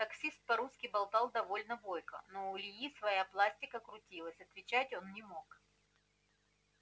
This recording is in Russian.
таксист по-русски болтал довольно бойко но у ильи своя пластика крутилась отвечать он не мог